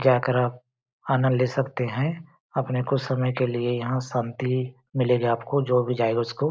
जाकर आप आनंद ले सकते हैं अपने कुछ समय के लिए यहाँ शांति मिलेगी आपको जो भी जाएगा उसको। .